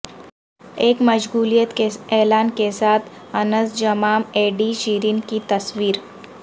ایک مشغولیت کے اعلان کے ساتھ انسجامام ایڈی شیرین کی تصویر